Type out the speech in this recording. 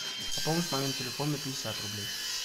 пополнить мамин телефон на пятьдесят рублей